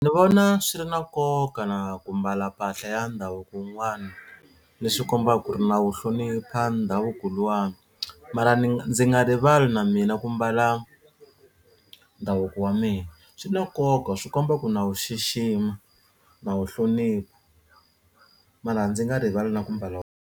Ni vona swi ri na nkoka na ku mbala mpahla ya ndhavuko wun'wana leswi kombaka ku ri na wu hlonipha ndhavuko luwani mara ni ndzi nga rivali na mina ku mbala ndhavuko wa mina swi na nkoka swi komba ku na wu xixima na wu hlonipha mara ndzi nga rivala na ku mbala .